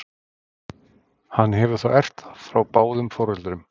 Hann hefur þá erft það frá báðum foreldrum.